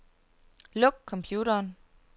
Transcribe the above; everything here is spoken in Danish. Luk computeren.